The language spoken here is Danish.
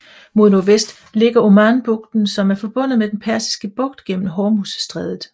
Mod nordvest ligger Omanbugten som er forbundet med den Persiske Bugt gennem Hormuzstrædet